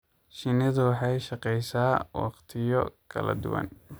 Shinnidu waxay shaqeysaa waqtiyo kala duwan.